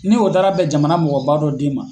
Ni o dara bɛ jamana mɔgɔba dɔ den ma.